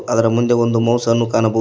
ಅದರ ಮುಂದೆ ಒಂದು ಮೌಸ್ ಅನ್ನು ಕಾಣಬೋ--